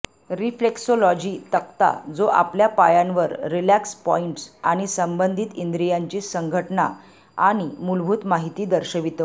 reflexology तक्ता जो आपल्या पायांवर रीलॅक्स पॉईंट्स आणि संबंधित इंद्रीयांची संघटना आणि मूलभूत माहिती दर्शवितो